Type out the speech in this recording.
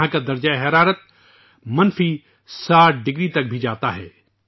یہاں کا درجہ حرارت منفی 60 ڈگری تک بھی جاتا ہے